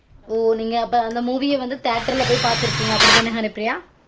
ஒ நீங்க அப்ப அந்த movie ய வந்து theatre ல போயி பாத்துருக்கீங்க அப்டி தான ஹரிப்ரியா